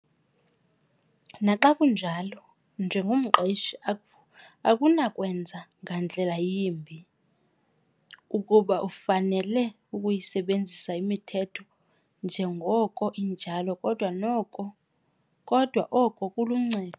Naxa kunjalo, njengomqeshi akunakwenza ngandlela yimbi ukuba ufanele ukuyisebenzisa imithetho injengoko injalo, kodwa noko kodwa oko kuluncedo.